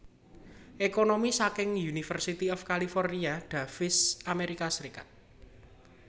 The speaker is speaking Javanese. Ekonomi saking University of California Davis Amerika Serikat